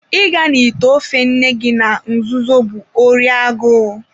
I ga na it ofe nne gị na nzuzo bụ órí agụụ